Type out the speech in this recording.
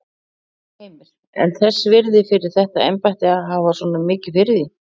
Heimir: En þess virði fyrir þetta embætti að hafa svona mikið fyrir því?